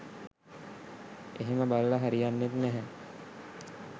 එහෙම බලලා හරියන්නෙත් නැහැ.